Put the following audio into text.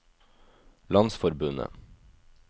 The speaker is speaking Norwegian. landsforbundet